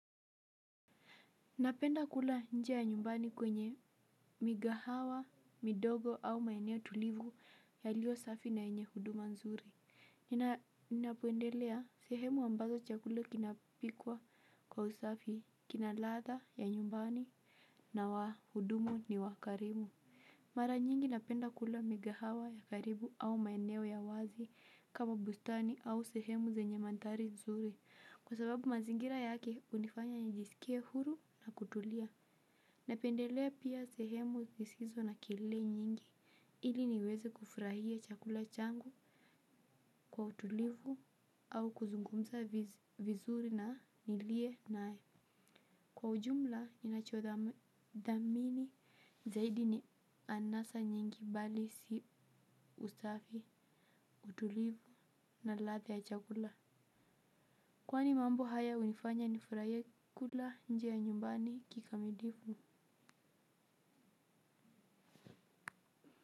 Napenda kula nje ya nyumbani kwenye migahawa, midogo au maeneo tulivu yaliyo safi na yenye huduma nzuri. Ninapoendelea sehemu ambazo chakula kinapikwa kwa usafi, kina ladha ya nyumbani na wa hudumu ni wa karimu. Mara nyingi napenda kula migahawa ya karibu au maeneo ya wazi kama bustani au sehemu zenye mandhari nzuri. Kwa sababu mazingira yake unifanya njisikie huru na kutulia. Napendelea pia sehemu zisizo na kelele nyingi ili niweze kufurahia chakula changu kwa utulivu au kuzungumza vizuri na nilie naye. Kwa ujumla, ninachodhamini zaidi ni anasa nyingi bali si usafi utulivu na ladha ya chakula. Kwani mambo haya hunifanya nifurahie kula nje ya nyumbani kikamilivu?